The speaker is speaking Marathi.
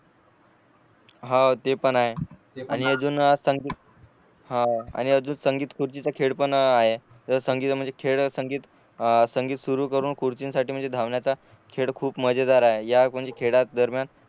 हो ते पण आहे आणि अजून संगीत आणि अजून संगीत खुर्चीच खेळ पण आहे संगीत म्हणजे खेळ संगीत सुरु करून खुर्चींसाठी म्हणजे धावण्याचा खेळ खूप मजेदार आहे या म्हणजे खेळाच्या दरम्यान